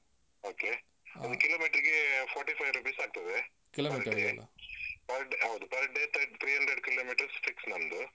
Okay ಹ ಅದು Kilometer ಗೆ forty five rupees ಆಗ್ತದೆ per day ಹೌದು, per day three hundred kilometers fix ನಮ್ದು.